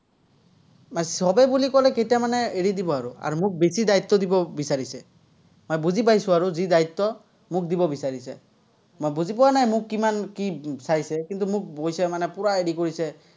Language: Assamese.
চবেই বুলি ক'লে কেইটামানে এৰি দিব আৰু, আৰু মোক বেছি দায়িত্ব দিব বিচাৰিছে। মই বুজি পাইছো আৰু যি দায়িত্ব, মোক দিব বিচাৰিছে। মই বুজি পোৱা নাই, মোক কিমান কি চাইছে, কিন্তু, মোক কৈছে মানে পুৰা হেৰি কৰিছে।